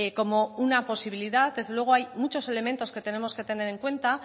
como una posibilidad desde luego hay muchos elementos que tenemos que tener en cuenta